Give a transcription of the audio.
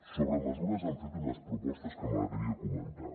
sobre mesures han fet unes propostes que m’agradaria comentar